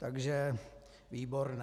Takže výborné.